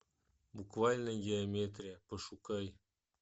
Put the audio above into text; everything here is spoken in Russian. буквальная геометрия пошукай